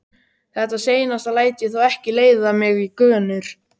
Þetta seinasta læt ég þó ekki leiða mig í gönur.